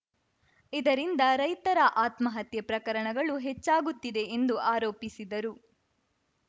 ಇದರಿಂದ ರೈತರ ಆತ್ಮಹತ್ಯೆ ಪ್ರಕರಣಗಳು ಹೆಚ್ಚಾಗುತ್ತಿದೆ ಎಂದು ಆರೋಪಿಸಿದರು